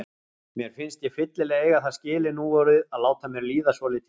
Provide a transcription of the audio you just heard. Mér finnst ég fyllilega eiga það skilið núorðið að láta mér líða svolítið vel.